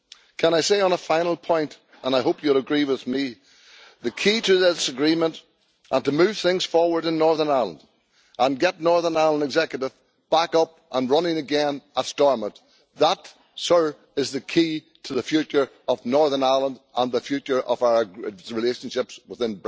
Can I say, on a final point and I hope you will agree with me that the key to this agreement is to move things forward in Northern Ireland and get the Northern Ireland Executive back up and running again at Stormont. That, Sir, is the key to the future of Northern Ireland and the future of our relationships within the context of Brexit.